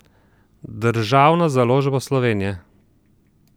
Državna založba Slovenije.